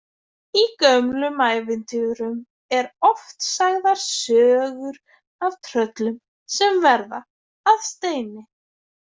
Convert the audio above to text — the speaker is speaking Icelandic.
Í gömlum ævintýrum eru oft sagðar sögur af tröllum sem verða að steini.